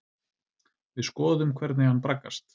Við skoðum hvernig hann braggast.